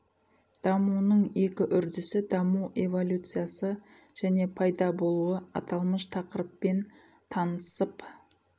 дамуының екі үрдісі даму эволюциясы және пайда болуы аталмыш тақырыппен танысып